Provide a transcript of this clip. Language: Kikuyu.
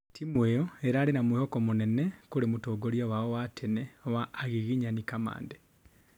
Timu ĩyo ĩrarĩ na mwĩhoko mũnene kurĩ mũtongoria wao wa tene wa Agiginyani Kamande